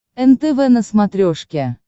нтв на смотрешке